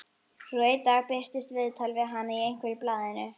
Svo einn dag birtist viðtal við hana í einhverju blaðinu.